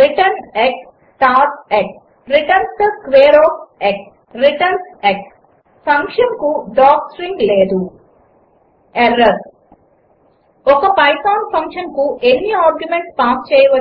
return x star x returns the square of x returns x ఫంక్షన్కు docstring లేదు error ● 1ఒక Python ఫంక్షన్కు ఎన్ని ఆర్గ్యుమెంట్స్ పాస్ చేయవచ్చు